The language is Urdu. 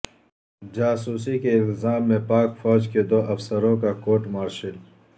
جاسوسی کے الزام میں پاک فوج کے دو افسروں کا کورٹ مارشل